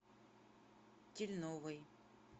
тельновой